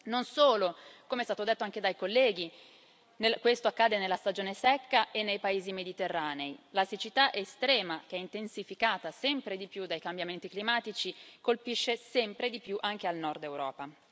Non solo, come è stato detto anche dai colleghi, questo accade nella stagione secca e nei paesi mediterranei, ma la siccità estrema, che è intensificata sempre di più dai cambiamenti climatici, colpisce sempre di più anche il Nord Europa.